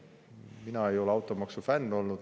Mina ei ole olnud automaksu fänn.